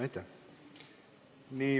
Aitäh!